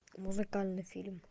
музыкальный фильм